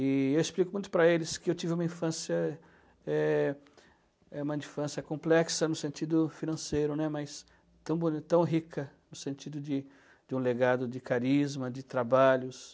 E eu explico muito para eles que eu tive uma infância eh, uma infância complexa no sentido financeiro, mas tão bonita, tão rica no sentido de de um legado de carisma, de trabalhos.